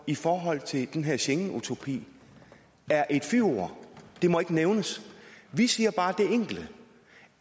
i forhold til den her schengenutopi er et fyord det må ikke nævnes vi siger bare det enkle